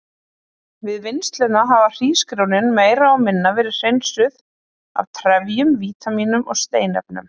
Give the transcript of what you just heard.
Við vinnsluna hafa hrísgrjónin meira og minna verið hreinsuð af trefjum, vítamínum og steinefnum.